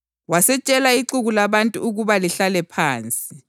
Wasetshela ixuku labantu ukuba lihlale phansi.